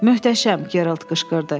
Möhtəşəm, Geralt qışqırdı.